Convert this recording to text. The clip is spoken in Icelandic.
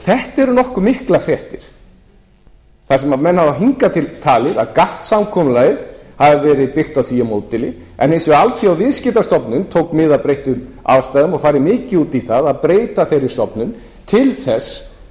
þetta eru nokkuð miklar fréttir þar sem menn hafa hingað til talið að gatt samkomulagið hafi verið byggt á því módeli en hins vegar alþjóðaviðskiptastofnunin tók mið af breyttum aðstæðum og farið mikið út í að breyta þeirri stofnun til